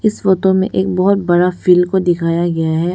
इस फोटो में एक बहुत बड़ा सा फील्ड को दिखाया गया है।